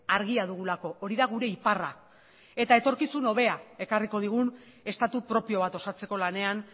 argia dugulako hori da gure iparra eta etorkizun hobea ekarriko digun estatu propio bat osatzeko lanean